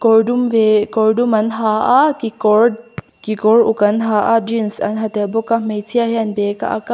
kawr dum leh kawr dum an ha a kekawr kekawr uk an ha a jeans an ha tel bawk a hmeichhia hian bag a ak a--